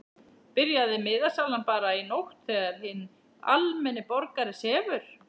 Byrjaði miðasalan bara í nótt þegar hinn almenni borgari sefur?